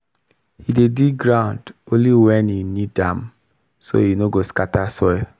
he dey dig ground only when e need am so e no scatter soil